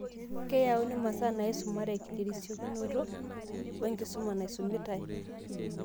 Keyauni masaa naisumaraki terisiokinoto wenkusuma naisumitai.